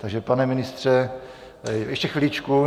Takže pane ministře, ještě chviličku.